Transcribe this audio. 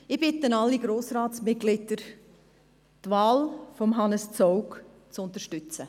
Ich bitte alle Grossratsmitglieder, die Wahl von Hannes Zaugg zu unterstützen.